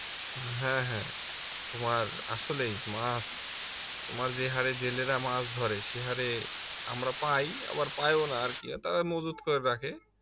হ্যাঁ হ্যাঁ তোমার আসলেই মাছ তোমার যে হারে জেলেরা মাছ ধরে সে হারে আমরা পাই আবার পাই ও না আর কি তারা মজুদ করে রাখে